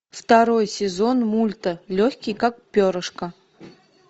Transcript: второй сезон мульта легкий как перышко